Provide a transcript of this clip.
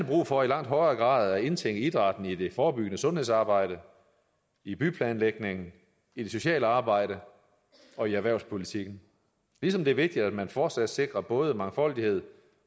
brug for i langt højere grad at indtænke idrætten i det forebyggende sundhedsarbejde i byplanlægningen i det sociale arbejde og i erhvervspolitikken ligesom det er vigtigt at man fortsat sikrer både mangfoldighed